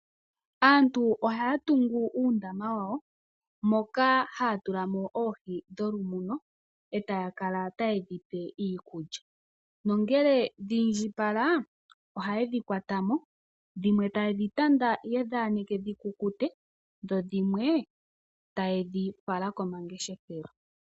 Aantu ohaya tungu uundama wawo moka haya tulamo oohi dholumuno, etaya kala tayedhi pe iikulya . Nongele dhi indjipala ohaye dhi kwatamo dhimwe tayedhi tanda, yedhi aneke dhikukute, dhimwe taye dhi fala pomahala gomangeshefelo.